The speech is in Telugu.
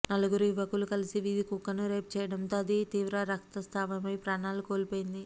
నలుగురు యువకులు కలిసి వీధి కుక్కను రేప్ చేయడంతో అది తీవ్ర రక్తస్రావమై ప్రాణాలు కోల్పోయింది